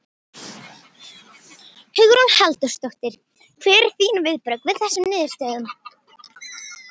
Hugrún Halldórsdóttir: Hver eru þín viðbrögð við þessum niðurstöðum?